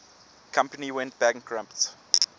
company went bankrupt